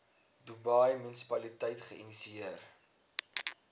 dubai munisipaliteit geïnisieer